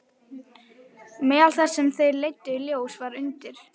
Meðal þess sem þær leiddu í ljós var að undir